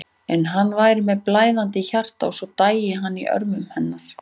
En hann væri með blæðandi hjarta og svo dæi hann í örmum hennar.